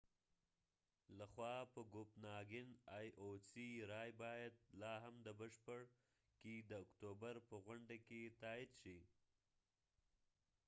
رای باید لاهم د بشپړ ioc لخوا په کوپناګن کې د اکتوبر په غونډه کې تائید شي